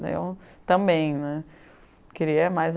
Daí eu também né, queria mais